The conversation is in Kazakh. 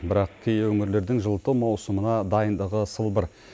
бірақ кей өңірлердің жылыту маусымына дайындығы сылбыр